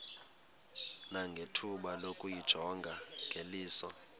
nangethuba lokuyijonga ngeliso